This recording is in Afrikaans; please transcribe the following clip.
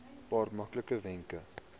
paar maklike wenke